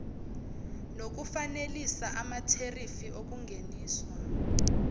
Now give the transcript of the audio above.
nokufanelisa amatherifi okungeniswa